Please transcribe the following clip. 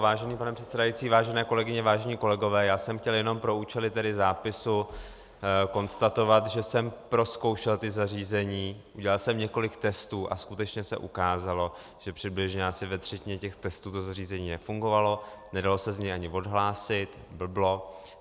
Vážený pane předsedající, vážené kolegyně, vážení kolegové, já jsem chtěl jenom pro účely tedy zápisu konstatovat, že jsem prozkoušel ta zařízení, udělal jsem několik testů a skutečně se ukázalo, že přibližně asi ve třetině těch testů to zařízení nefungovalo, nedalo se z něj ani odhlásit, blblo.